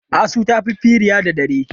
Asu ta fi firiya da dare.